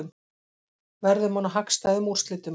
Verðum að ná hagstæðum úrslitum